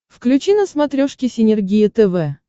включи на смотрешке синергия тв